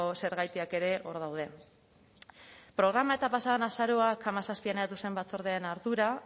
zergatiak ere hor daude programa pasa den azaroak hamazazpian eratu zen batzordearen ardura